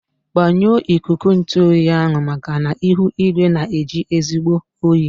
Gbanyụọ ikuku ntụ oyi ahụ maka na ihu igwe na-eji ezigbo oyi.